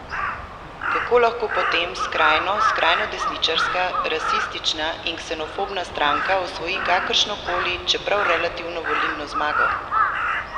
Kako lahko potem skrajno skrajnodesničarska, rasistična in ksenofobna stranka osvoji kakršno koli, čeprav relativno volilno zmago?